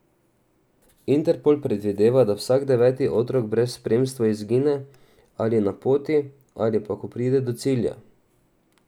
Interpol predvideva, da vsak deveti otrok brez spremstva izgine ali na poti ali pa, ko pride do cilja.